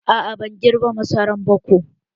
A'a, ban girba masaran ba ko